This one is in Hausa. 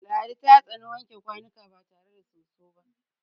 Ladi ta tsani wanke kwanuka ba tare da soso ba.